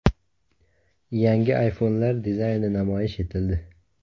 Yangi iPhone’lar dizayni namoyish etildi .